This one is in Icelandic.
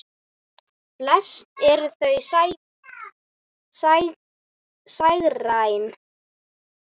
Flest eru þau sígræn.